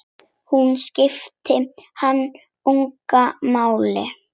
Hún skipti hann engu máli.